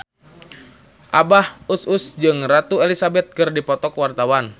Abah Us Us jeung Ratu Elizabeth keur dipoto ku wartawan